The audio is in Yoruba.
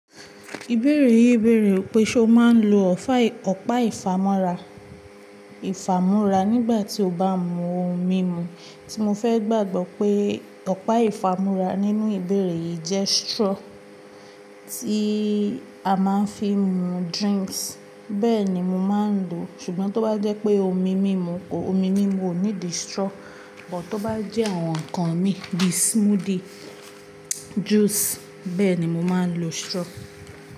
Ìbéèrè yìí béèrè pé, ṣe o máa ń lo ọ̀pá ìfámúrá nígbà tí o bá ń mu ohun mímu? Tí mo fẹ́ gbàgbọ́ pé ọ̀pá ìfámúrá nínú ìbéèrè yìí jẹ́ straw tí a máa ń fi mu drinks. Bẹ́ẹ̀ ni, mo máa ń lo. Ṣùgbọ́n tó bá jẹ́ pé ohun mímu mi ò ní di straw. Ṣùgbọ́n tó bá jẹ́ àwọn nǹkan mi di smoothie, juice, bẹ́ẹ̀ ni màá lo straw.